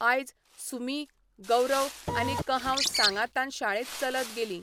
आयज, सुमी, गौरव आनी कहांव सांगातान शाळेंत चलत गेलीं.